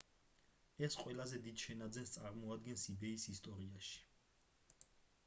ეს ყველაზე დიდ შენაძენს წარმოადგენს ebay-ის ისტორიაში